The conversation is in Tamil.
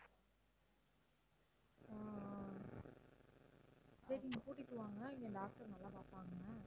ஆஹ் ஆஹ் சரி நீங்கக் கூட்டிட்டு வாங்க இங்க doctor நல்லா பார்ப்பாங்க